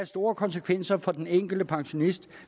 store konsekvenser for den enkelte pensionist